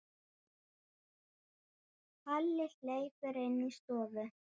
Palli hleypur inn í stofu.